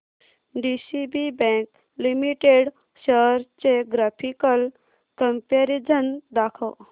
DCB bank limited shares चे graphical comparison दाखव